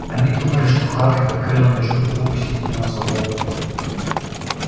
они думали что хагрид открыл её чтобы выпустить меня на свободу